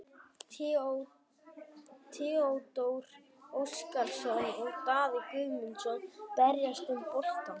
Theodór Óskarsson og Daði Guðmundsson berjast um boltann.